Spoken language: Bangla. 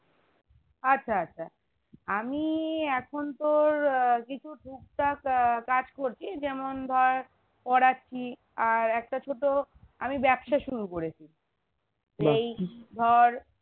আচ্ছা আচ্ছা আমি এখন তোর হম উহ কিছু টুকটাক উহ কাজ করছি যেমন ধর পড়াচ্ছি আর একটা ছোটো আমি ব্যবসা শুরু করেছি এই ধর